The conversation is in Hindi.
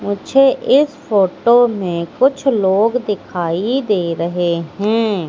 मुझे इस फोटो में कुछ लोग दिखाई दे रहे हैं।